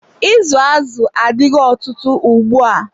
Izu azụ adigo ọtụtụ ugbua.